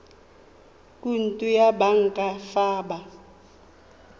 khoutu ya banka fa ba